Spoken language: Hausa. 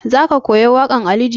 Za ka koya waƙan ali jita?